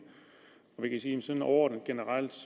og vi kan sige sådan overordnet og generelt